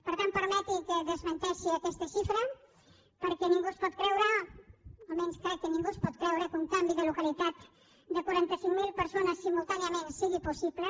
per tant permeti’m que desmenteixi aquesta xifra perquè ningú es pot creure almenys crec que ningú s’ho pot creure que un canvi de localitat de quaranta cinc mil persones simultàniament sigui possible